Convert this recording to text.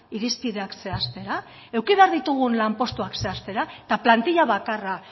irizpideak zehaztera eduki behar ditugun lanpostuak zehaztera eta plantilla bakarra